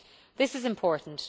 This is important.